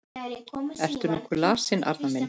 Ertu nokkuð lasinn, Arnar minn?